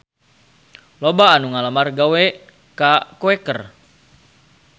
Loba anu ngalamar gawe ka Quaker